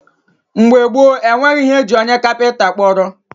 mgbe gboo, e nweghị ihe e ji onye kapịnta kpọrọ.